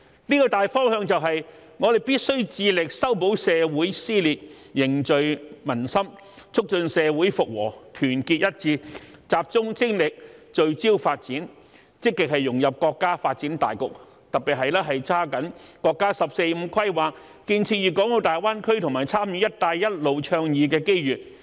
這個大方向便是，我們必須致力修補社會撕裂，凝聚民心，促進社會復和，團結一致，集中精力，聚焦發展，積極融入國家發展大局，特別是抓緊國家"十四五"規劃、建設粵港澳大灣區和參與"一帶一路"倡議的機遇。